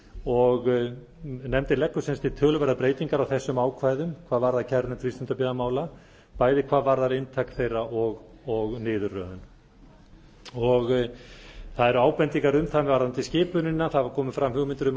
og nefndin leggur til töluverðar breytingar á þessum ákvæðum hvað varðar kærunefnd frístundabyggðamála bæði hvað varðar inntak þeirra og niðurröðun það eru ábendingar um það varðandi skipunina það hafa komið fram hugmyndir um að það